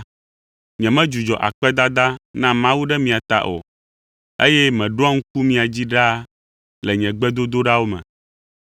nyemedzudzɔ akpedada na Mawu ɖe mia ta o, eye meɖoa ŋku mia dzi ɖaa le nye gbedodoɖawo me.